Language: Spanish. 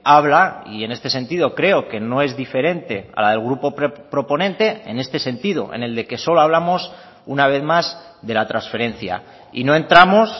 habla y en este sentido creo que no es diferente a la del grupo proponente en este sentido en el de que solo hablamos una vez más de la transferencia y no entramos